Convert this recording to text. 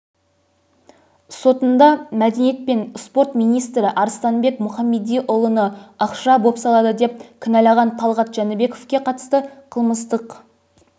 сотында мәдениет және спорт министрі арыстанбек мұхамедиұлыны ақша бопсалады деп кінәлаған талғат жәнібековке қатысты қылмыстық